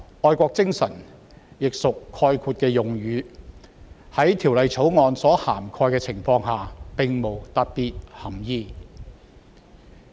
"愛國精神"亦屬概括的用語，在《條例草案》所涵蓋的情況下並無特定涵義。